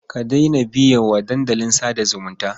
Ka daina biye wa dandalin sa da zumunta.